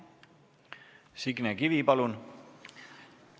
Signe Kivi, palun!